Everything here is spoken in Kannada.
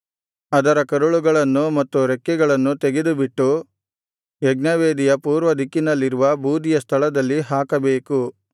ಅದರ ಕರುಳುಗಳನ್ನು ಮತ್ತು ರೆಕ್ಕೆಗಳನ್ನು ತೆಗೆದುಬಿಟ್ಟು ಯಜ್ಞವೇದಿಯ ಪೂರ್ವದಿಕ್ಕಿನಲ್ಲಿರುವ ಬೂದಿಯ ಸ್ಥಳದಲ್ಲಿ ಹಾಕಬೇಕು